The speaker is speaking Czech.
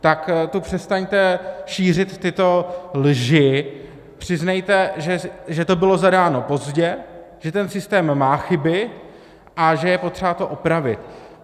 Tak tu přestaňte šířit tyto lži, přiznejte, že to bylo zadáno pozdě, že ten systém má chyby a že je potřeba to opravit.